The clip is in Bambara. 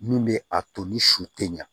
Mun bɛ a to ni su tɛ ɲa